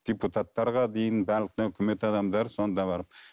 депутаттарға дейін барлық өкімет адамдары сонда барып